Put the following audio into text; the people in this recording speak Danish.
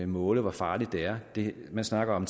måle hvor farligt det er man snakker om